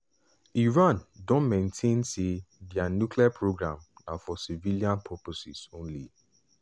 iran don maintain say dia nuclear programme na for civilian purposes only.